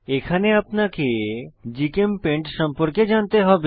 এখানে আপনাকে জিচেমপেইন্ট সম্পর্কে জানতে হবে